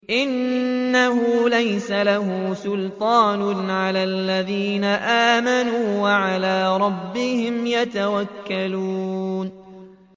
إِنَّهُ لَيْسَ لَهُ سُلْطَانٌ عَلَى الَّذِينَ آمَنُوا وَعَلَىٰ رَبِّهِمْ يَتَوَكَّلُونَ